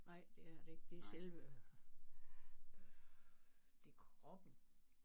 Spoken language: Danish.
Nej det er det ikke det er selve det er kroppen